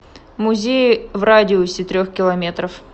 музеи в радиусе трех километров